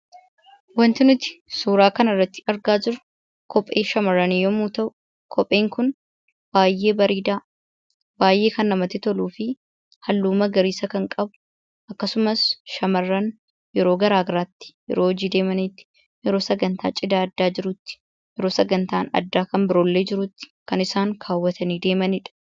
Wanti nuti suuraa kanarratti arginu kophee shamarranii yommuu ta'u, kopheen kun baay'ee bareedaa fi kan namatti tolu halluu magariisa kan qabu akkasumas shamarran yeroo garaagaraatti yeroo hojii deemanitti , yeroo sagantaan cidhaa addaa jirutti, yeroo sagantaan addaa kan biroollee jirutti kan isaan kaawwatanii deemanidha.